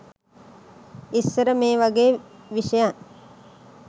ඉස්සර මේ වගේ විෂයන්